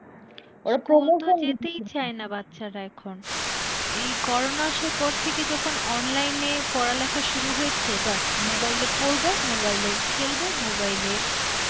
বাচ্চারা এখন এই করোনা আসার পর থেকে যখন online এ পড়ালেখা শুরু হয়েছে, ব্যাস mobile এ পড়বে mobile এ খেলবে, mobile এ